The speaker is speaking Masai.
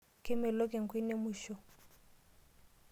Kemelok enkwenia emuisho.